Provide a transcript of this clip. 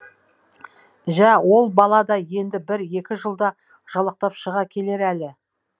жә ол бала да енді бір екі жылда жалақтап шыға келер әлі